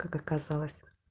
как оказалось